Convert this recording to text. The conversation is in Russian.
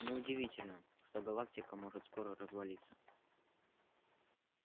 не удивительно что галактика может скоро развалиться